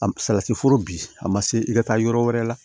A salati foro bi a ma se i ka taa yɔrɔ wɛrɛ la